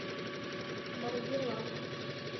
маргилан